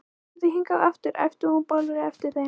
Komið þið hingað aftur! æpti hún bálreið á eftir þeim.